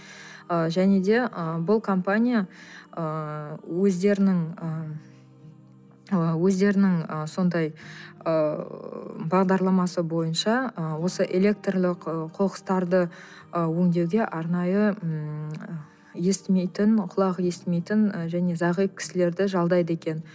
ы және де ы бұл компания ыыы өздерінің ы өздерінің ы сондай ыыы бағдарламасы бойынша ы осы электрлік ы қоқыстарды ы өндеуге арнайы ммм естімейтін құлағы естімейтін ы және зағип кісілерді жалдайды екен